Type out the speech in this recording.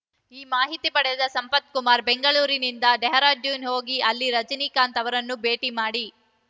ಈ ಮಾಹಿತಿ ಪಡೆದ ಸಂಪತ್‌ ಕುಮಾರ್‌ ಬೆಂಗಳೂರಿನಿಂದ ಡೆಹ್ರಾಡೂನ್‌ ಹೋಗಿ ಅಲ್ಲಿ ರಜನಿಕಾಂತ್‌ ಅವರನ್ನು ಭೇಟಿ ಮಾಡಿ